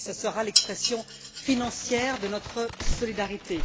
Et ce sera là l'expression financière de notre solidarité.